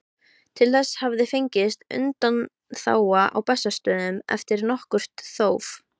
Til þess hafði fengist undanþága á Bessastöðum eftir nokkurt þóf.